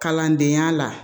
Kalandenya la